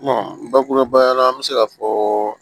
bakurubaya la an bɛ se ka fɔ